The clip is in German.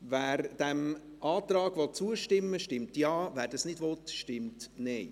Wer diesem Antrag zustimmen will, stimmt Ja, wer dies nicht will, stimmt Nein.